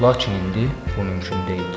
Lakin indi bu mümkün deyil.